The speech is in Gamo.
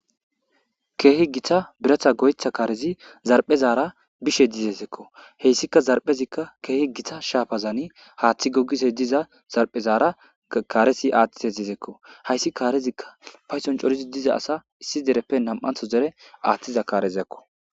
Keehi gita biratha goyetha kaarezi zarphezaara bishe dizezeekko heyssika zarphezikka keehi gita shaafazani haaththi gogise diza zarphezaara kaaresi aathtite zezeekko hayssi kaarezikka payson corizi diza asa issi dereppe nam'antho zere aaththiza kaarezeekko.